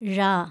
ഴ